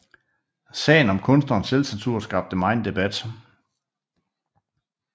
Sagen om kunstnernes selvcensur skabte megen debat